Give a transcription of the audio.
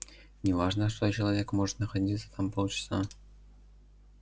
не важно что человек может находиться там полчаса